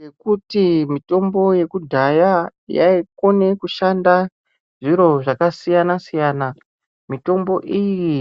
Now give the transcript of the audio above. Ngekuti mitombo yekudhaya yaikona kushanda zviro zvakasiyana siyana mutombo iyi